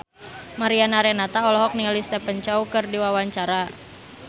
Mariana Renata olohok ningali Stephen Chow keur diwawancara